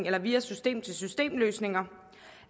eller via system til system løsninger